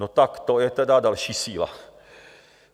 No tak to je teda další síla.